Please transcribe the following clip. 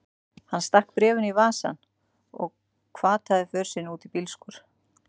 Hann stakk bréfinu í vasann og hvataði för sinni út í bílskúr.